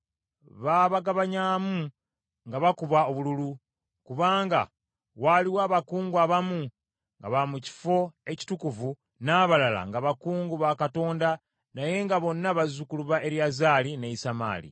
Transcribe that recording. Baabagabanyamu nga bakubye obululu, kubanga waaliwo abakungu abamu nga ba mu kifo ekitukuvu, n’abalala nga bakungu ba Katonda naye nga bonna bazzukulu ba Eriyazaali ne Isamaali.